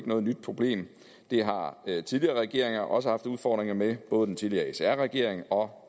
noget nyt problem det har tidligere regeringer også haft udfordringer med både den tidligere sr regering og